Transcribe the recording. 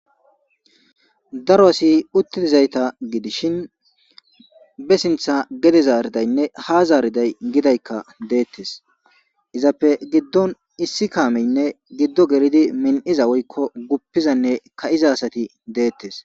Daro asi uttidizayta gidishin be sintha gede zaaridaynne hazaariday gidaykka deettes izappe giddon issi kaameynne giddo geridi min'iza woykko guppizanne ka'iza asati deettes.